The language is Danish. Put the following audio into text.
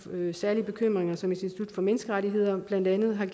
særlige bekymringer som institut for menneskerettigheder blandt andet har